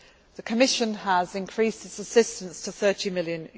moved quickly. The Commission has increased its assistance to EUR